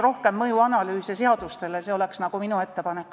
Rohkem seaduste mõjuanalüüse – see oleks minu ettepanek.